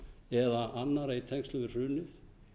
eða annarra í tengslum við hrunið